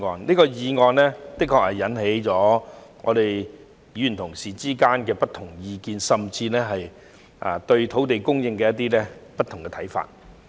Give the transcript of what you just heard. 這項議案的確引起了議員的不同意見，甚至對土地供應的不同看法。